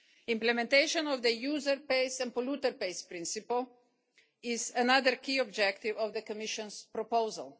cars. Implementation of the user pays' and polluter pays' principles is another key objective of the Commission's proposal.